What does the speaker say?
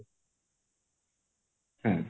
ହୁଁ